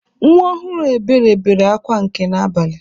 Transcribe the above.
Nwa ọhụrụ Ebere bere akwa nke n'abalị.